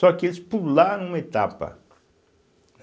Só que eles pularam uma etapa.